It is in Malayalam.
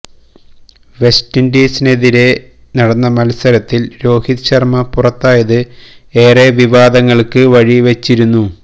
വെസ്റ്റ് ഇൻഡീസിനെതിരെ നടന്ന മത്സരത്തിൽ രോഹിത് ശർമ്മ പുറത്തായത് ഏറെ വിവാദങ്ങൾക്ക് വഴി വെച്ചിരുന്നു